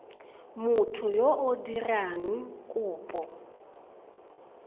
motho yo o dirang kopo